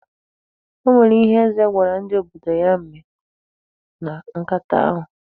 O nwere ihe Eze gwara ndị odibo ya mee na nkata ahụ.